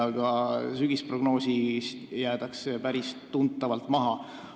Ka sügisprognoosist jäädakse päris tuntavalt maha.